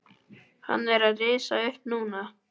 Hann er að rísa upp núna.